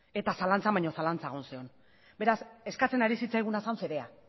eta zalantzan baino zalantzan zegoen beraz eskatzen ari zitzaiguna zen fedea